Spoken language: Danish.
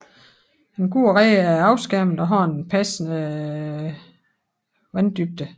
En god red er afskærmet og har en passende vanddybde